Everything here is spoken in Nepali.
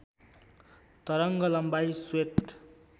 तरङ्ग लम्बाइ श्वेत